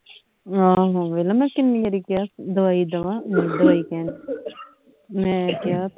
ਆਹ ਵੇਖਲਾ ਮੈਂ ਕਿੰਨੀ ਵਾਰੀ ਕਿਹਾ ਦਵਾਈ ਦੇਵਾਂ ਦਵਾਈ ਕੈਣ ਡਈ ਮੈਂ ਕਿਹਾ ਤੇ